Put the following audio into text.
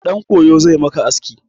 Ɗan koyo zai maka aski.